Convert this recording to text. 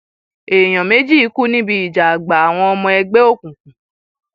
èèyàn méjì kú níbi ìjà àgbà àwọn ọmọ ẹgbẹ òkùnkùn